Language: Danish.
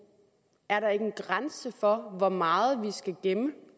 er der ikke en grænse for hvor meget vi skal gemme